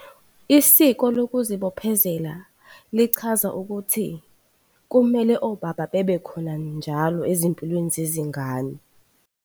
Isiko lokuzibophezela lichaza ukuthi kumele obaba babekhona njalo ezimpilweni zezingane.